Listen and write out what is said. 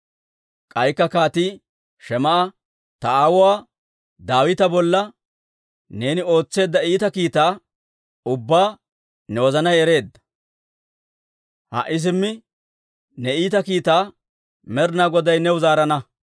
K'aykka kaatii Shim"a, «Ta aawuwaa Daawita bolla neeni ootseedda iita kiitaa ubbaa ne wozanay ereedda. Ha"i simmi ne iita kiitaa Med'inaa Goday new zaarana.